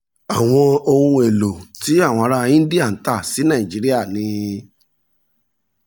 àwọn ohun èlò tí àwọn ará íńdíà ń tà sí nàìjíríà ni